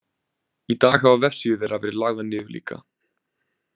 Í dag hafa vefsíður þeirra verið lagðar niður líka.